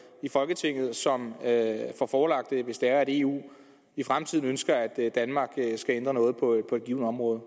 i folketinget som får forelagt det hvis det er eu i fremtiden ønsker at danmark skal ændre noget på et givent område